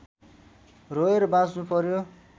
रोएर बाँच्नु पर्‍यो